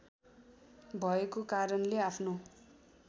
भएको कारणले आफ्नो